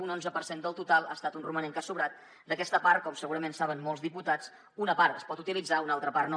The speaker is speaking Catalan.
un onze per cent del total ha estat un romanent que ha sobrat d’aquesta part com segurament saben molts diputats una part es pot utilitzar una altra part no